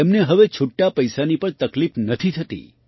તેમને હવે છુટ્ટા પૈસાની પણ તકલીફ નથી થતી